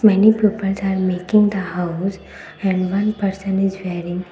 many peoples are making the house and one person is wearing --